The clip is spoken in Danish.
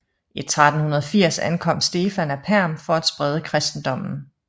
I 1380 ankom Stefan af Perm for at sprede kristendommen